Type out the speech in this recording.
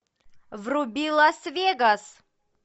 вруби лас вегас